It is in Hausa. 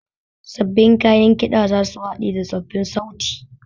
Sabbin kayan ƙiɗa za su haɗe da tsoffin sauti